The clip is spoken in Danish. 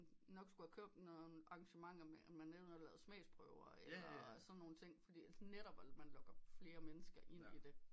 Nok skulle have kørt nogen arrangementer med at man lavede smagsprøver eller sådan noget netop så man lokker flere mennesker ind i det